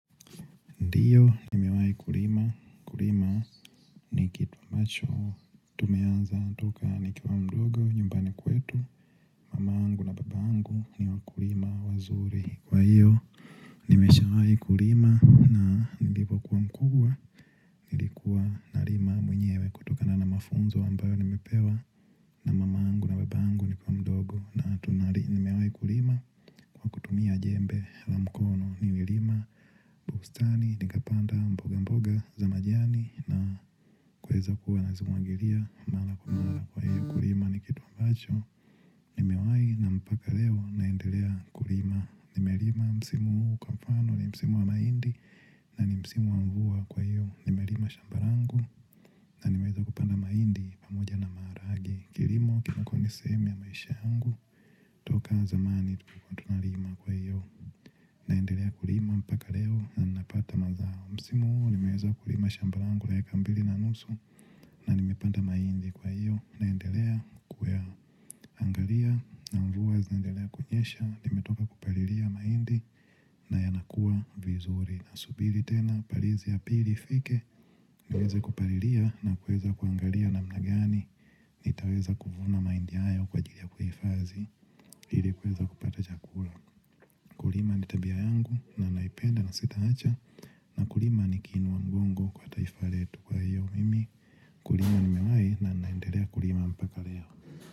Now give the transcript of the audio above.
Ndiyo, nimewai kulima. Kulima ni kitu ambacho. Tumeanza toka nikiwa mdogo, nyumbani kwetu. Mama yangu na baba yangu ni wakulima wazuri. Kwa hiyo, nimeshawai kulima na nlipokuwa mkubwa, nilikuwa nalima mwenyewe kutokana na mafunzo ambayo nimepewa na mamaangu na babaangu nikiwa mdogo na tunari. Nimewai kulima, kutumia jembe la mkono, nilirima, bustani, nikapanda mboga mboga za majani. Na kueza kuwa nazimuangiria, mala kwa mala kwa hiyo ukulima ni kitu ambacho nimewai na mpaka leo naendelea kulima. Nimelima msimu uu kwa mfano, ni msimu wa maindi na ni msimu wa mvua kwa hiyo nimelima shamba rangu na nimeweza kupanda maindi pamoja na maharage. Kilimo kinako niseemu ya maisha yangu, toka zamani tulikua tuna lima kwa hiyo naendelea kulima mpaka leo na napata mazao. Msimu huu nimeweza kulima shamba langu la eka mbili na nusu na nimepanda maindi kwa iyo naendelea kuwea angalia na mvua zinaendelea kunyesha. Nimetoka kupaliria maindi na yanakua vizuri. Na subili tena parizi ya pili fike. Nieze kupaliria na kueza kuangalia namna gani. Nitaweza kuvuna maindi ayo kwa ajili ya kuhifazi ili kueza kupata chakura. Kulima ni tabia yangu na naipenda na sitaacha na ukukima ni kiinua mgongo kwa hili taifa letu. Kurlma nimewai na naendelea kulima mpaka leo.